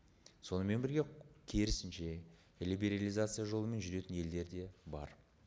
сонымен бірге керісінше либерализация жолымен жүретін елдер де бар